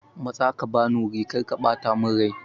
Matsa ka bani wuri!karka bata mun aiki.